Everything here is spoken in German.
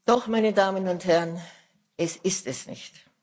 Doch, meine Damen und Herren Das ist es nicht.